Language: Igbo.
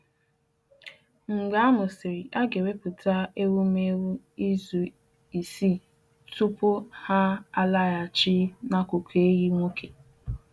Mgbe ha mụsịrị, a ga-ewepụta ewumewụ izu isii tupu ha alaghachi n’akụkụ ehi nwoke